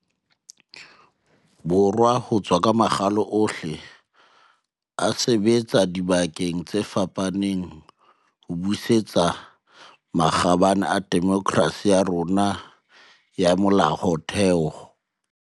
Borwa ho tswa ka makgalo ohle, a sebetsa dibakeng tse fapaneng ho busetsa makgabane a demokerasi ya rona ya molaotheo.